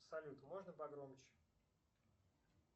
салют можно погромче